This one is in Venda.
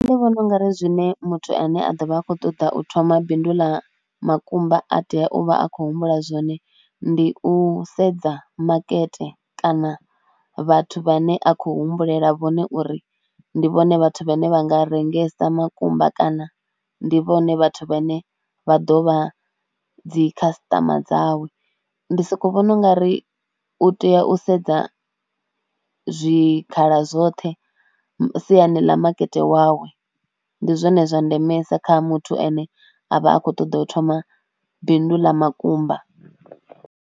Ndi vhona u nga ri zwine muthu ane a ḓo vha a khou ṱoḓa u thoma bindu ḽa makumba a tea u vha a khou humbula zwone ndi u sedza makete kana vhathu vhane a khou humbulela vhone uri ndi vhone vhathu vhane vha nga rengese makumba kana ndi vhone vhathu vhane vha ḓo vha dzi khasiṱama dzawe. Ndi sokou vhona u nga ri u tea u sedza zwikhala zwoṱhe siani ḽa makete wawe. Ndi zwone zwa ndemesa kha muthu ane a vha a khou ṱoḓa u thoma bindu ḽa makumba.